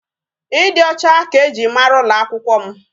Ịdị ọcha ka eji mara ụlọ akwụkwọ m.